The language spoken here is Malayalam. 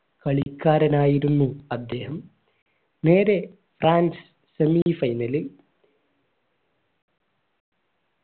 കളിക്കാരനായിരുന്നു അദ്ദേഹം നേരെ semi final ൽ